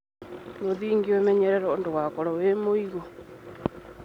Mũthingi ũmenyererwo ndũgakorwo wĩ mũigũ.